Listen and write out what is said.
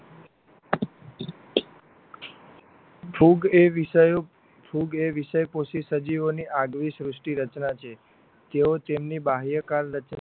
ફૂગ એ વિષયો ફૂગ એ વિષયો બે વિષય પહોંચી સજીવોની આગવી સૃષ્ટિ રચના છે તેઓ તેમની બાહ્ય કાલ